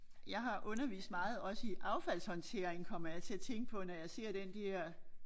Jeg har undervist meget også i affaldshåndtering kommer jeg til at tænke på når jeg ser den der